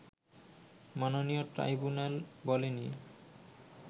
মাননীয় ট্রাইব্যুনাল বলেনি